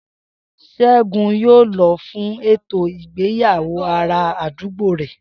S̩égun yóò lo̩ fún ètò ìgbéyàwó ará àdúgbò rè̩